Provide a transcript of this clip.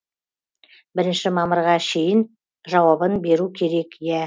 бірінші мамырға шейін жауабын беру керек иә